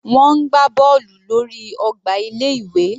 Wọ́n ń gbá bọ́ọ̀lù lórí ọgbà ilé ìwé.